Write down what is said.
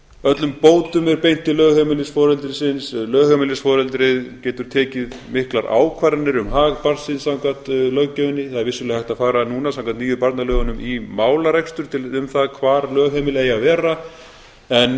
öllum bótum er beint til lögheimilisforeldrisins lögheimilisforeldrið getur tekið miklar ákvarðanir um hag barnsins samkvæmt löggjöfinni það er vissulega hægt að fara núna samkvæmt nýju barnalögunum í málarekstur um það hvar lögheimilið eigi